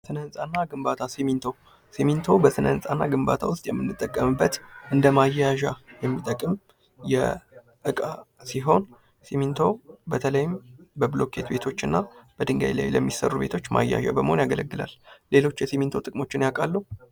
ስነ ህንፃና ግንባታ ሲሚንቶ በስነፃና ግንባታ ውስጥ የምንጠቀምበት እንደማያያዣ የሚጠቅም የዕቃ ሲሆን ሲሚንቶ በተለይም በብሉኬት ቤቶችና በድንጋይ ላይ ለሚሰሩ ቤቶች ማያያዣ በመሆን ያገለግላል። ሌሎች የሲሚንቶ ጥቅሞችን ያውቃሉ።